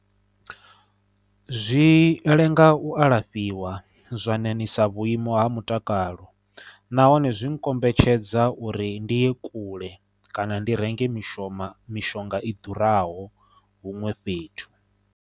Zwi lenga u alafhiwa zwa ṋaṋisa vhuimo ha mutakalo nahone zwi kombetshedza uri ndi ye kule kana ndi renge mishoma mishonga i ḓuraho huṅwe fhethu.